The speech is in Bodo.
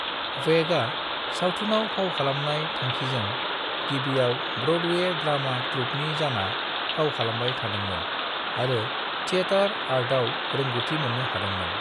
वेगा, सावथुनआव फाव खालामनाय थांखिजों, गिबिआव ब्र'डवे ड्रामा ट्रूपनि जाना फाव खालामबाय थादोंमोन आरो थियेटर आर्टआव रोंगौथि मोननो हादोंमोन।